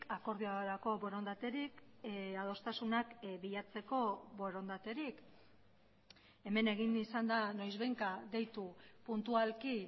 akordiorako borondaterik adostasunak bilatzeko borondaterik hemen egin izan da noizbehinka deitu puntualki